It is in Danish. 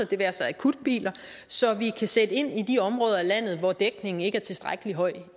det være sig akutbiler så vi kan sætte ind i de områder af landet hvor dækningen ikke er tilstrækkelig høj